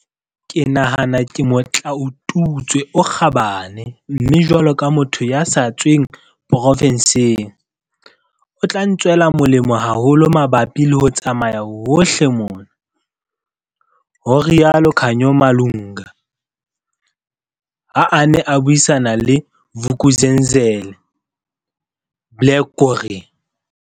Ke nahana ke motlaotutswe o kgabane mme jwalo ka motho ya sa tsweng porofenseng, o tla ntswela molemo haholo mabapi le ho tsamaya hohle mona," ho rialo Khanyo Malunga, ha a ne a buisana le Vuk'uzenzele, Blair gowrie.